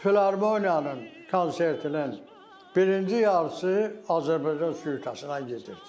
Filarmoniyanın konsertinin birinci yarısı Azərbaycan süitəsindən gedirdi.